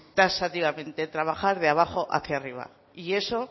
taxativamente trabajar de abajo hacia arriba y eso